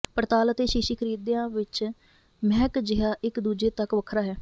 ਪੜਤਾਲ ਅਤੇ ਸ਼ੀਸ਼ੀ ਖਰੀਦਿਆ ਵਿਚ ਮਹਿਕ ਜਿਹਾ ਇਕ ਦੂਜੇ ਤੱਕ ਵੱਖਰਾ ਹੈ